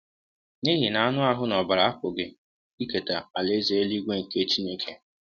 N’ihi na anụ ahụ́ na ọbara apụghị iketa Alaeze eluigwe nke Chineke.